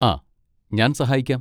ആ, ഞാൻ സഹായിക്കാം.